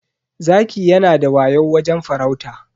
Zaki yanada wayau wajen farauta.